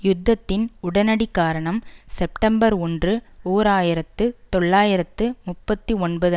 யுத்தத்தின் உடனடி காரணம் செப்டம்பர் ஒன்று ஓர் ஆயிரத்து தொள்ளாயிரத்து முப்பத்தி ஒன்பது